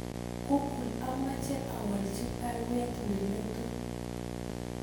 Google amache awalchi baruet neletu